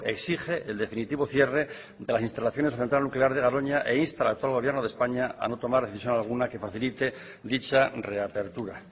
exige el definitivo cierre de las instalaciones de la central nuclear de garoña e insta al actual gobierno de españa a no tomar decisión alguna que facilite dicha reapertura